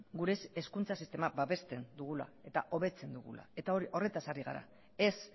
gure hezkuntza sistema babesten dugula eta hobetzen dugula eta horretaz ari gara ez